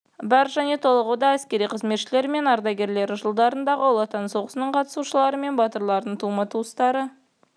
бар және толығуда әскери қызметшілері мен ардагерлері жылдардағы ұлы отан соғысының қатысушылары мен батырлардың тума-туыстары